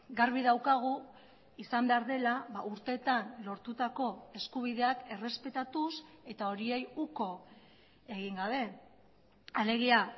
garbi daukagu izan behar dela urteetan lortutako eskubideak errespetatuz eta horiei uko egin gabe alegia